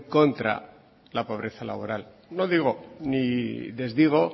contra la pobreza laboral no digo ni desdigo